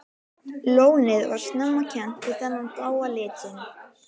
Lónið var snemma kennt við þennan bláa lit sinn.